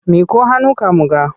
Miƙo hannunka mu ga!